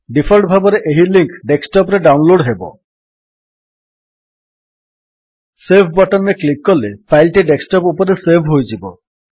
default ଭାବରେ ଏହି link desktop ରେ ଡାଉନଲୋଡ୍ ହେବ ସେଭ୍ ବଟନ୍ ରେ କ୍ଲିକ୍ କଲେ ଫାଇଲ୍ ଟି ଡେସ୍କଟପ୍ ଉପରେ ସେଭ୍ ହୋଇଯିବ